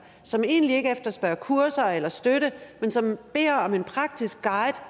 som egentlig ikke efterspørger kurser eller støtte men som beder om en praktisk guide